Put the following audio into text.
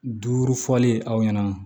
Duuru fɔli aw ɲɛna